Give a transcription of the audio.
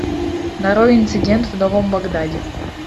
нарой инцидент в новом багдаде